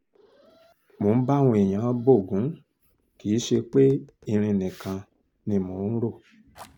mo ń bá àwọn èèyàn bo ògún kì í ṣe pé irin nìkan ni mò ń rò